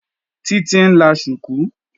Títí ń la ṣùkú